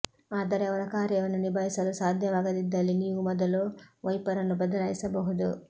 ಆದರೆ ಅವರ ಕಾರ್ಯವನ್ನು ನಿಭಾಯಿಸಲು ಸಾಧ್ಯವಾಗದಿದ್ದಲ್ಲಿ ನೀವು ಮೊದಲು ವೈಪರನ್ನು ಬದಲಾಯಿಸಬಹುದು